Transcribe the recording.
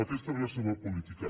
aquesta és la seva política